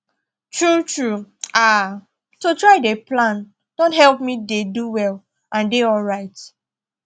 true true haaa to try dey plan don help me dey do well and dey alright